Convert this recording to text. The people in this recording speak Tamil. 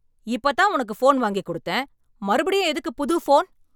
இப்பதான் உனக்கு போன் வாங்கி கொடுத்தேன்? மறுபடியும் எதுக்கு புது போன் ?